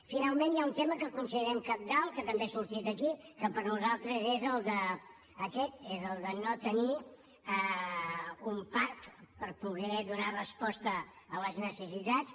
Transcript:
finalment hi ha un tema que considerem cabdal que també ha sortit aquí que per nosaltres és aquest el de no tenir un parc per poder donar resposta a les necessitats